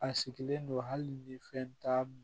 A sigilen don hali ni fɛn t'a